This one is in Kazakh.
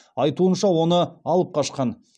айтуынша оны алып қашқан